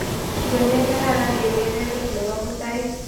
Ng'o ne kararan eng' keberber ne po mutai